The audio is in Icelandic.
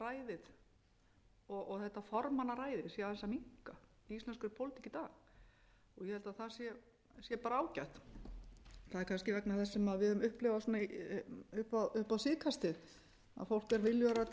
sé aðeins að minnka í íslenskri pólitík í dag ég held að það sé bara ágætt það er kannski vegna þess sem við höfum upplifað upp síðkastið að fólk er viljugra